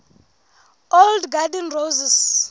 old garden roses